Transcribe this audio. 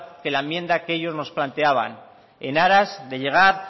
que la enmienda que ellos nos planteaban en aras de llegar